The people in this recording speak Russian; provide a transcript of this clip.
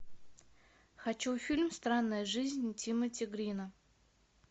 хочу фильм странная жизнь тимоти грина